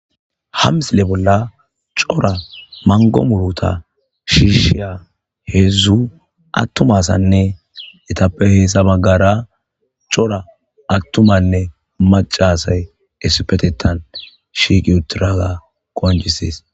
Ha misile bolla cora mango muruta shishiya hedzu atumanne etappe hesa bagara cora atumanne maca asyi issipettha shiqi utidaga qoncisese